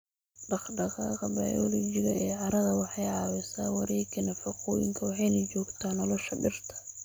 Dhaqdhaqaaqa bayoolojiga ee carrada waxay caawisaa wareegga nafaqooyinka waxayna joogtaa nolosha dhirta.